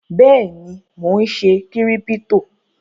Bẹ́ẹ̀ ni, mò ń ṣe Kírípítò.